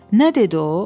Nə dedi o?